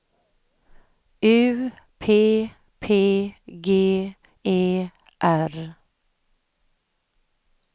U P P G E R